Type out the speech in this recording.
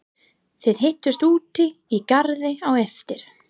Þið hittist úti í garði á eftir.